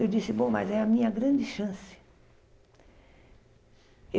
Eu disse, bom, mas é a minha grande chance.